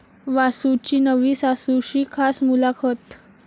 वासूची नवी सासू'शी खास मुलाखत